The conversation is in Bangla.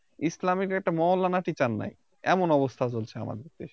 ইসলামীর একটা মৌলানা Teacher নাই এমন অবস্থা চলছে আমাদের দেশে